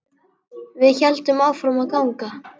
Við héldum áfram að ganga.